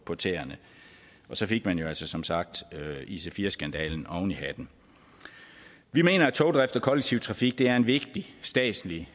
på tæerne og så fik man jo altså som sagt ic4 skandalen oven i hatten vi mener at togdriften kollektive trafik er en vigtig statslig